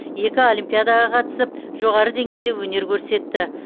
екі олимпиадаға қатысып жоғары деңгейде өнер көрсетті